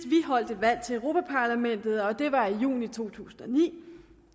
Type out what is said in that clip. vi holdt valg til europa parlamentet og det var i juni to tusind og ni